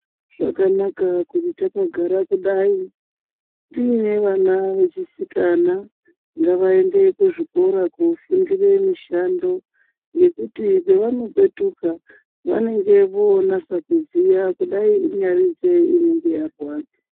Zvakanaka kuti takagara kudai tiine vana vechisikana ngavaende kuzvikora kofundire mishando ngekuti pevanopetuka vanenge vonasa kuziya kudai inyari nzee inenge yarwadza.